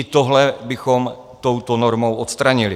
I tohle bychom touto normou odstranili.